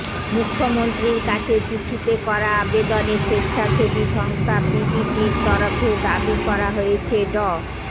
মুখ্যমন্ত্রীর কাছে চিঠিতে করা আবেদনে স্বেচ্ছাসেবী সংস্থা পিবিটির তরফে দাবি করা হয়েছে ড